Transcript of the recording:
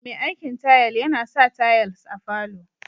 Me aikin tayal yana sa tayals a falo